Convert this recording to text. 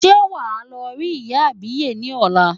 Ṣé wàá lọ rí ìyá àbíyè ni ọ̀la.